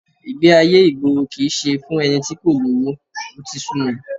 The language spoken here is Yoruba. Ìgbé-ayé ìgboro kì í ṣe fún ẹni tí kò lówó, ó ti sú mi